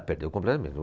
Ah, perdeu completamente.